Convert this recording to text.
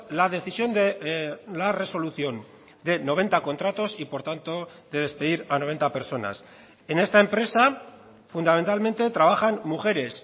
la decisión de la resolución de noventa contratos y por tanto de despedir a noventa personas en esta empresa fundamentalmente trabajan mujeres